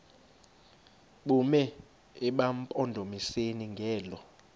bume emampondomiseni ngelo